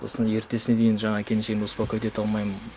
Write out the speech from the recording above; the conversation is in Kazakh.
сосын ертесіне дейін жаңағы келіншегімді успокоить ете алмаймын